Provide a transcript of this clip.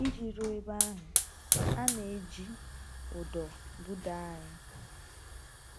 Iji ruo ebe ahụ, a na-iji ụdọ budaa anyị.